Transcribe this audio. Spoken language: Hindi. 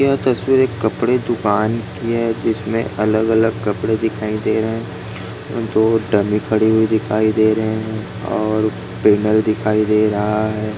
यह तस्वीर एक कपड़े दूकान की है जिसमे अलग-अलग कपड़े दिखाई दे रहे है दो कड़ी दिखाई दे रहे है और पेनल दिखाई दे रहा है।